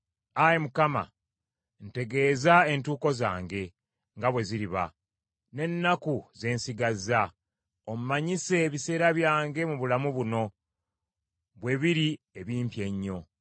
“Ayi Mukama , ntegeeza entuuko zange nga bwe ziriba, n’ennaku ze nsigazza; ommanyise ebiseera byange mu bulamu buno bwe biri ebimpi ennyo.”